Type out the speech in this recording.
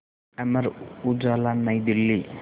Amar Ujala New Delhi